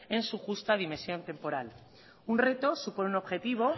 en su justa dimensión temporal un reto supone un objetivo